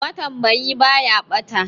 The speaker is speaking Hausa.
Matambayi ba ya ɓata.